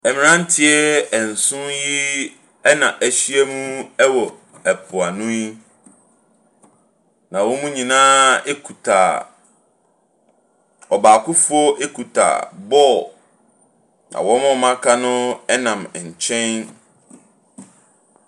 Mmaranteɛ nson yi ɛn'ahyia mu yi wɔ mpoano yi. Na wɔn nyina ekuta, ɔbaakofoɔ ekuta bɔɔl. Wɔn a aka no ɛnam nkyɛn.